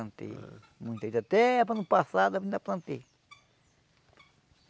Plantei muito. Até ano passado ainda plantei.